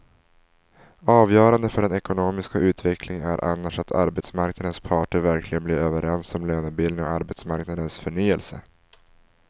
Avgörande för den ekonomiska utvecklingen är annars att arbetsmarknadens parter verkligen blir överens om lönebildningen och arbetsmarknadens förnyelse.